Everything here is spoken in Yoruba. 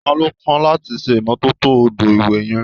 Ta ló kàn láti ṣe ìmọ́tótó odò ìwẹ̀ yẹn?